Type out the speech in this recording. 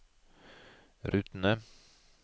rutene